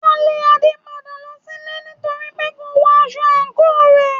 Wọn lé Ade padà lọ sílé nítorípé kò wọ aṣọ àǹkóò rẹ̀.